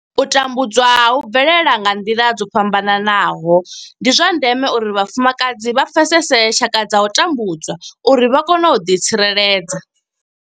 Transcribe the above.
U tambudzwa hu bvelela nga nḓila dzo fhambanaho nahone ndi zwa ndeme uri vhafumakadzi vha pfesese tshaka dza u tambudzwa uri vha kone u ḓitsireledza.